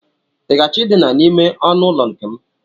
I ga-achọ Idina n'ime ọnụụlọ nke m?